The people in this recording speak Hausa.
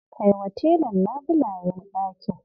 Kaiwa telan labulayen ɗakin.